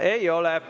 Ei ole.